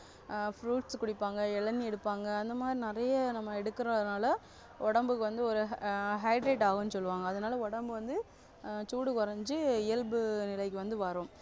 ஆஹ் fruits குடிப்பாங்க இளநீர் எடுப்பாங்க அந்தமாதிரி நிறைய நம்ம எடுக்குறதுனால உடம்புக்கு வந்து ஒரு ஆஹ் hydrate ஆகும்னு சொல்லுவாங்க அதனால உடம்பு வந்து ஆஹ் சூடு குறைஞ்சு இயல்பு நிலைக்கு வந்து வரும்